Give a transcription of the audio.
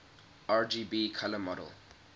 rgb color model